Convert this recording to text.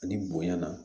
Ani bonya na